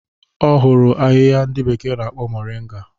Ọ hụrụ ahịhịa ndị bekee na-akpọ Moringa.